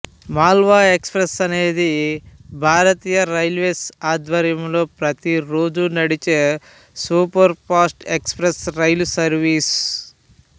Malwa express అనేది భారతీయ railways ఆధ్వర్యంలో ప్రతిరోజు నడిచే సూపర్ ఫాస్ట్ ఎక్స్ ప్రెస్ రైలు సర్వీసు